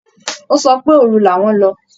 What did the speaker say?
Ó sọ pé òru làwọn lọ